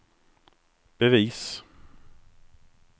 bevis